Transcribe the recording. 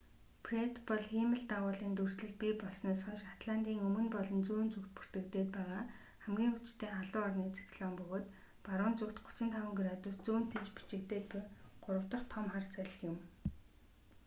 фред бол хиймэл дагуулын дүрслэл бий болсноос хойш атлантын өмнө болон зүүн зүгт бүртгэгдээд байгаа хамгийн хүчтэй халуун орны циклон бөгөөд баруун зүгт 35 градус зүүн тийш бичигдээд буй гурав дах том хар салхи юм